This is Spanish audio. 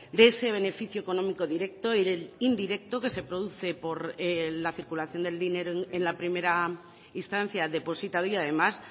de ese beneficio económico directo y del indirecto que se produce por la circulación del dinero en la primera instancia depositaria además